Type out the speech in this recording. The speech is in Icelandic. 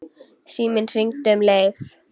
Síminn hringdi um leið.